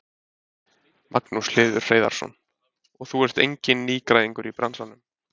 Magnús Hlynur Hreiðarsson: Og þú ert enginn nýgræðingur í bransanum?